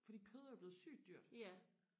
fordi kød er jo blevet sygt dyrt